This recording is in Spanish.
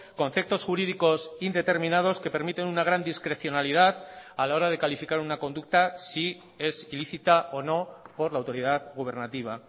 conceptos jurídicos indeterminados que permiten una gran discrecionalidad a la hora de calificar una conducta si es ilícita o no por la autoridad gubernativa